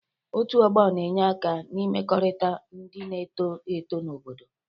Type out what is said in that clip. Otụ ọgbo na-enye aka n'imekọrịta ndị na-eto eto na obodo.